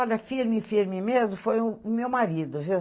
Olha, firme, firme mesmo, foi o o meu marido, viu?